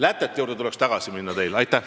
Ma arvan, et teil tuleks lätete juurde tagasi minna.